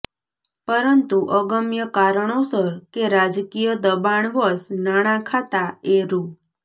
પરંતુ અગમ્ય કારણોસર કે રાજકીય દબાણવશ નાણા ખાતા એ રૂ